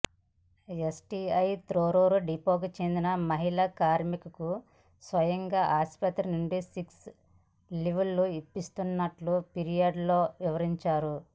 STI Thorrur డిపోకు చెందిన మహిళా కార్మికులకు స్వయంగా ఆసుపత్రి నుండి సిక్ లీవ్లు ఇప్పిస్తున్నట్లు ఫిర్యాదులో వివరించారు